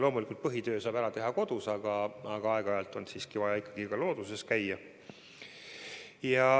Loomulikult saab põhitöö ära teha kodus, aga aeg-ajalt on vaja ka looduses käia.